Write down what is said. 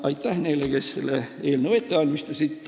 Aitäh neile, kes selle eelnõu ette valmistasid!